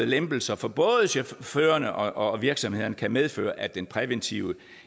lempelser for både chaufførerne og virksomhederne kan medføre at den præventive